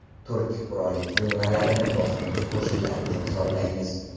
Turk qurolli tuzilmalarini bosqinchi qo‘shinlar deb hisoblaymiz.